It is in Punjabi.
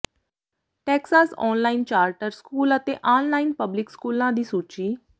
ਟੈਕਸਾਸ ਔਨਲਾਈਨ ਚਾਰਟਰ ਸਕੂਲ ਅਤੇ ਆਨਲਾਈਨ ਪਬਲਿਕ ਸਕੂਲਾਂ ਦੀ ਸੂਚੀ